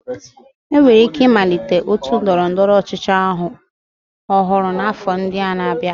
Enwere ike ịmalite otu ndọrọ ndọrọ ọchịchị ọhụrụ n'afọ ndị na-abịa